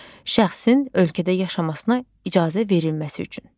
Şəxsin ölkədə yaşamasına icazə verilməsi üçün.